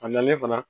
A nalen fana